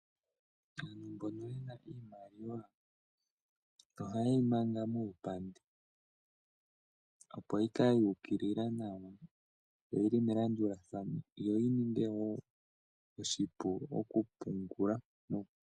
Aantu mbono ye na iimaliwa ohaye yi manga muupandi, opo yi kale yu ukilila nawa yo oyi li melandulathano yo yi ninge wo oshipu okupungula.